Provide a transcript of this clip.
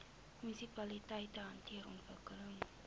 munisipaliteite hanteer ontwikkeling